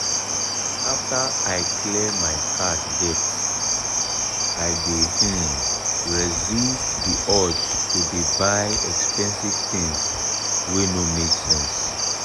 after i clear my card debt i dey um resist the urge to dey buy expensive tins wey no make sense.